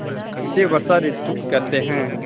इसे वर्षा ॠतु कहते हैं